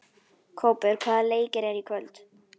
Kópur, hvaða leikir eru í kvöld?